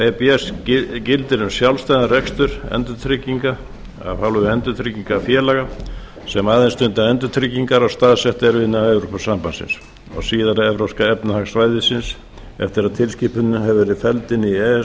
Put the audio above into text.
e b gildir um sjálfstæðan rekstur endurtrygginga af hálfu endurtryggingafélaga sem aðeins stunda endurtryggingar og staðsett eru innan evrópusambandsins og síðar evrópska efnahagssvæðisins eftir að tilskipunin hefur verið felld inn í e e s